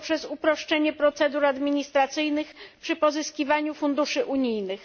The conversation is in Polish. poprzez uproszczenie procedur administracyjnych przy pozyskiwaniu funduszy unijnych.